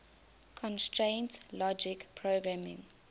constraint logic programming